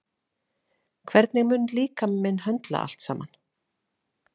Hvernig mun líkami minn höndla allt saman?